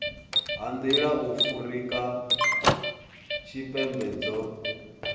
ha nḓila afurika tshipembe dzo